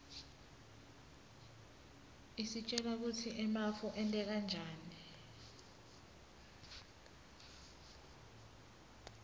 isitjela kutsi emafu enteka njani